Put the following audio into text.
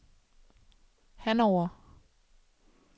Hannover